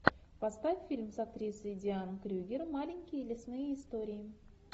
поставь фильм с актрисой дианой крюгер маленькие лесные истории